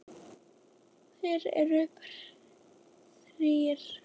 Þeir eru þrír